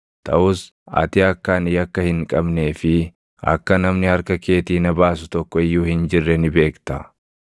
Taʼus ati akka ani yakka hin qabnee fi akka namni harka keetii na baasu tokko iyyuu hin jirre ni beekta.